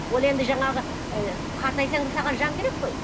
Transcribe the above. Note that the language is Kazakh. ол енді жаңағы ы қартайсаң да саған жан керек қой